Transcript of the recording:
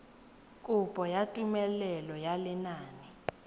kopo ya tumelelo ya lenane